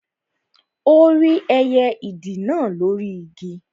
Ó rí ẹyẹ ìdì náà lóri Igi